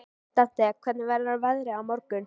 Dante, hvernig verður veðrið á morgun?